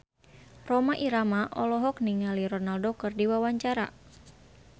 Rhoma Irama olohok ningali Ronaldo keur diwawancara